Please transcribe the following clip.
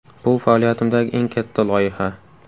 Bu faoliyatimdagi eng katta loyiha.